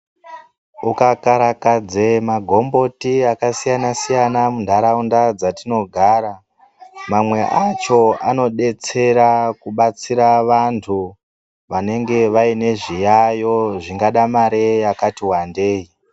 Muka karakadze magomboti aka siyana siyana mu ndaraunda dzatino gara mamwe acho anodetsera kubatsira vantu vanenge vaine zviyayo zvingada mare yakati wandei.